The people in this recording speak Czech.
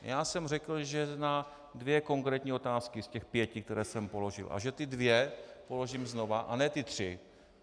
Já jsem řekl, že na dvě konkrétní otázky z těch pěti, které jsem položil, a že ty dvě položím znova, a ne ty tři.